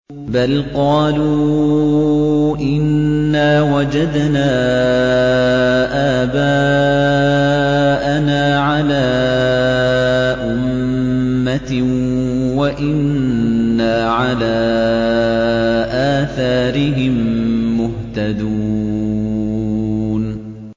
بَلْ قَالُوا إِنَّا وَجَدْنَا آبَاءَنَا عَلَىٰ أُمَّةٍ وَإِنَّا عَلَىٰ آثَارِهِم مُّهْتَدُونَ